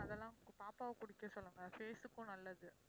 அதெல்லாம் பாப்பாவ குடிக்க சொல்லுங்க face க்கும் நல்லது